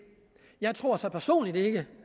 jeg tror så personligt ikke